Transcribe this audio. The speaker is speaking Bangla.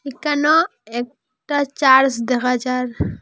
একানো একটা চার্জ দেখা যার।